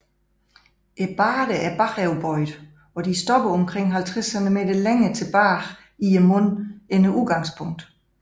Barderne er bagoverbøjede og stopper omkring 50 cm længere tilbage i munden end udgangspunktet